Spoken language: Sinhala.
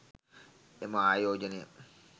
එම ආයෝජනය